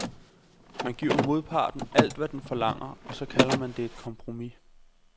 Man giver modparten alt, hvad den forlanger, og så kalder man det et kompromis.